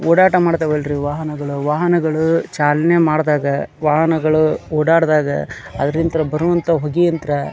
ಓಡಾಟ ಮಾಡ್ತಾವ್ ಅಲ್ರಿ ವಾಹನಗಳು ವಾಹನಗಳು ಚಾಲನೆ ಮಾಡಿದಾಗ ವಾಹನಗಳು ಓಡಾಡಿದಾಗ ಅದ್ರಿಂತ ಬಾರೋ ಅಂತ ಹೋಗಿ ಅಂತ್ರ--